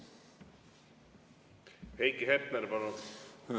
Heiki Hepner, palun!